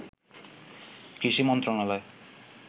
কৃষি মন্ত্রণালয়